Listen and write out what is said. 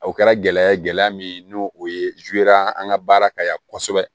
O kɛra gɛlɛya ye gɛlɛya min n'o o ye an ka baara ka yan kosɛbɛ